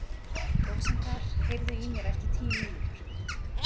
Rósinkar, heyrðu í mér eftir tíu mínútur.